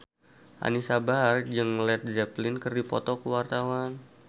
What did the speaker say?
Anisa Bahar jeung Led Zeppelin keur dipoto ku wartawan